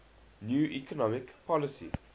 new economic policy